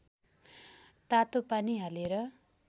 तातो पानी हालेर